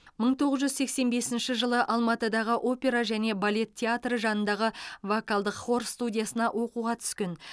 мың тоғыз жүз сексен бесінші жылы алматыдағы опера және балет театры жанындағы вокалдық хор студиясына оқуға түскен